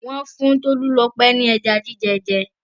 Wọn fún Tolulope ni ẹja jíjẹ jẹ.